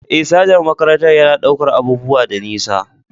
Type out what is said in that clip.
Eh, sajan makarantar yana ɗaukar abubuwa da nisa.